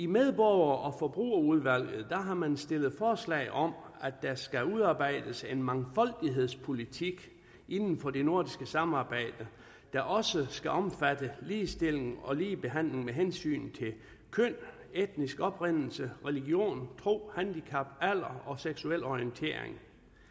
medborger og forbrugerudvalg har man stillet forslag om at der skal udarbejdes en mangfoldighedspolitik inden for det nordiske samarbejde der også skal omfatte ligestilling og ligebehandling med hensyn til køn etnisk oprindelse religion tro handicap alder og seksuel orientering